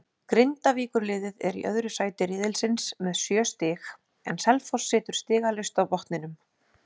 Grindavíkurliðið er í öðru sæti riðilsins með sjö stig en Selfoss situr stigalaust á botninum.